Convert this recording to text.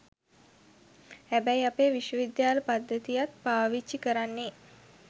හැබැයි අපේ විශ්වවිද්‍යාල පද්ධතියත් පාවිච්චි කරන්නේ